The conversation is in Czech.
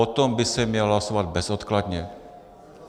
O tom by se mělo hlasovat bezodkladně.